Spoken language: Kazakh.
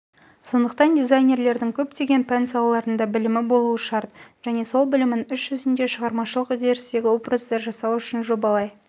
сондықтан дизайнердің көптеген пән салаларында білімі болуы шарт және сол білімін іс жүзінде шығармашылық үдерістегі образды жасау үшін жобалай